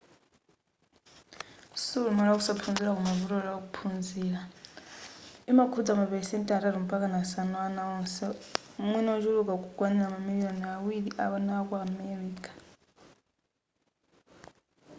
siulumali wa kusaphunzira koma vuto la kuphunzira imakhudza ma pelesenti atatu mpakana asanu a ana onse mwina ochuluka kukwanila mamiliyoni awiri a ana aku america